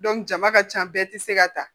jama ka ca bɛɛ tɛ se ka ta